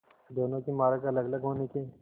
दोनों के मार्ग अलगअलग होने के